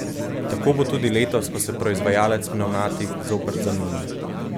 Tako bo tudi letos, ko se proizvajalec pnevmatik zopet zamenja.